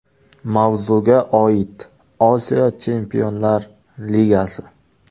Mavzuga oid: Osiyo Chempionlar ligasi.